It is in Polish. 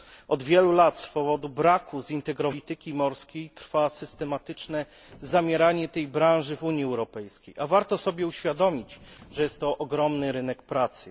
Od wielu lat z powodu braku zintegrowanej polityki morskiej trwa systematyczne zamieranie tej branży w Unii Europejskiej, a warto sobie uświadomić, że jest to ogromny rynek pracy.